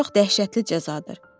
Bu çox dəhşətli cəzadır.